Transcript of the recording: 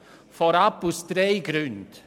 Dafür gibt es vorab drei Gründe: